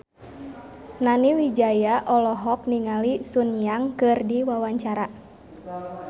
Nani Wijaya olohok ningali Sun Yang keur diwawancara